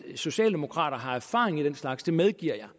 socialdemokrater har erfaring med den slags det medgiver